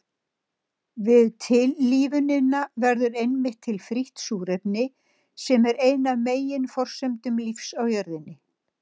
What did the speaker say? Við tillífunina verður einmitt til frítt súrefni sem er ein af meginforsendum lífs á jörðinni.